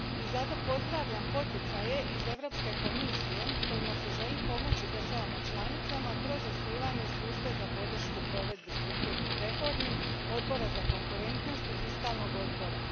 I zato pozdravljam poticaje iz Europske komisije kojima se želi pomoći državama članicama kroz osnivanje službe za podršku provedbi strukturnih reformi, odbora za konkurentnost i fiskalnog odbora.